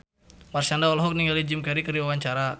Marshanda olohok ningali Jim Carey keur diwawancara